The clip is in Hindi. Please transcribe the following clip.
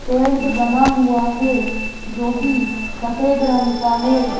टेंट बना हुआ है जो किसफेद रंग का है।